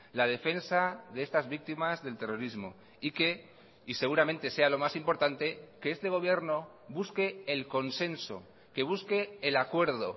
la defensa de estas víctimas del terrorismo y que y seguramente sea lo más importante que este gobierno busque el consenso que busque el acuerdo